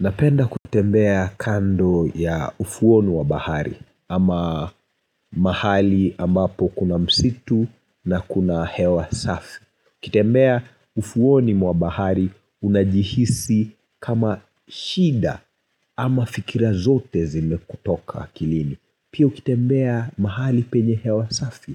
Napenda kutembea kando ya ufuoni wa bahari ama mahali ambapo kuna msitu na kuna hewa safi. Kutembea ufuoni wa bahari unajihisi kama shida ama fikira zote zime kutoka akilini. Pia ukitembea mahali penye hewa safi